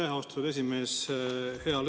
Aitäh, austatud esimees!